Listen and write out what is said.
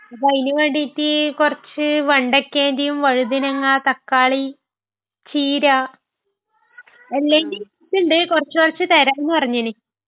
അപ്പൊ അയ്ന് വേണ്ടീട്ട് കുറച്ച് വെണ്ടക്കേന്‍റെയും വഴുതനങ്ങ, തക്കാളി, ചീര...എല്ലായ്ന്റേം വിത്തുണ്ട്, കുറച്ചുകുറച്ച് തരാം നു പറഞ്ഞതിന്...